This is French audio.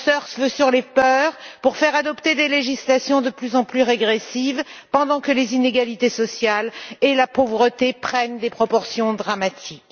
On surfe sur les peurs pour faire adopter des législations de plus en plus régressives pendant que les inégalités sociales et la pauvreté prennent des proportions dramatiques.